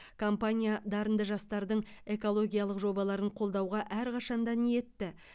компания дарынды жастардың экологиялық жобаларын қолдауға әрқашан да ниетті